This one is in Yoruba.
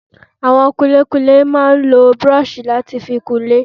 Àwọn kunlékunlé máa ń lo búrọ̀sì láti fi kunlé